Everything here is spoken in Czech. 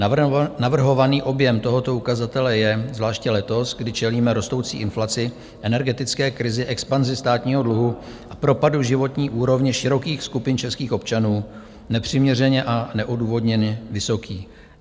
Navrhovaný objem tohoto ukazatele je zvláště letos, kdy čelíme rostoucí inflaci, energetické krizi, expanzi státního dluhu a propadu životní úrovně širokých skupin českých občanů, nepřiměřeně a neodůvodněně vysoký.